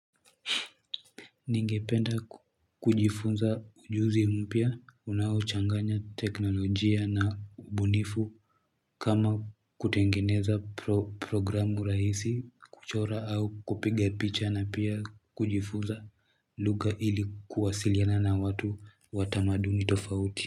Ningependa kujifunza ujuzi mpya unaochanganya teknolojia na ubunifu kama kutengeneza programu rahisi kuchora au kupiga picha na pia kujifunza lugha ili kuwasiliana na watu wa tamaduni tofauti.